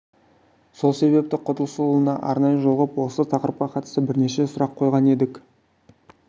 сол себепті құдысұлына арнайы жолығып осы тақырыпқа қатысты бірнеше сұрақ қойған едік